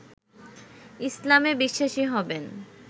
ইসলামে বিশ্বাসী হবেন